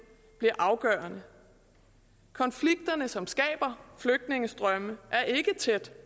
bliver afgørende konflikterne som skaber flygtningestrømme er ikke tæt